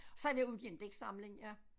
Så er jeg ved at udgive en digtsamling ja